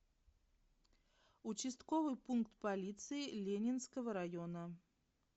участковый пункт полиции ленинского района